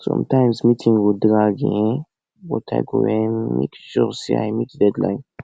sometimes meeting go drag um but i go make um sure say i meet deadline